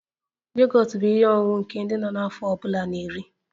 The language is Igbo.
Yogọt bụ ihe ọṅụṅụ nke ndị nọ n'afọ ọ bụla na-eri